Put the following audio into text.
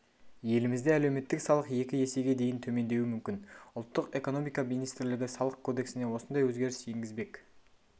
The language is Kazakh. елімізде әлеуметтік салық екі есеге дейін төмендеуі мүмкін ұлттық экономика министрлігі салық кодексіне осындай өзгеріс енгізбек